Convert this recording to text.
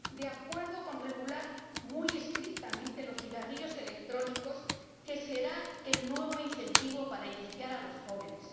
de acuerdo con regular muy estrictamente los cigarrillos electrónicos, que serán el nuevo incentivo para iniciar a los jóvenes